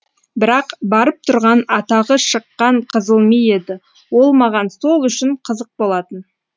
бірақ барып тұрған атағы шыққан қызыл ми еді ол маған сол үшін қызық болатын